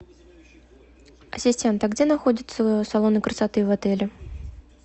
ассистент а где находятся салоны красоты в отеле